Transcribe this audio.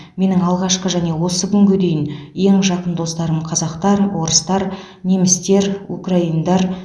менің алғашқы және осы күнге дейін ең жақын достарым қазақтар орыстар немістер украиндар